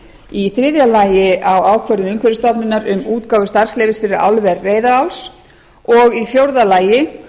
í þriðja lagi á ákvörðun umhverfisstofnunar um útgáfu starfsleyfis fyrir álver reyðaráls e h f og í fjórða lagi